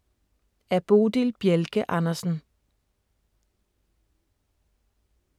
Af Bodil Bjelke Andersen